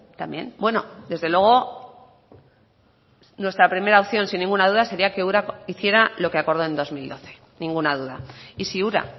también bueno desde luego nuestra primera opción sin ninguna duda sería que ura hiciera lo que acordó en dos mil doce ninguna duda y si ura